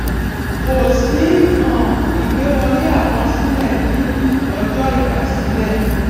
kò sí um ìgbé wọlé àkọsílẹ ní ní ọjọ ìgbàsílè